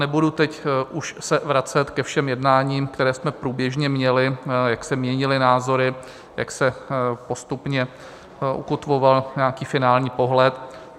Nebudu se už teď vracet ke všem jednáním, která jsme průběžně měli, jak se měnily názory, jak se postupně ukotvoval nějaký finální pohled.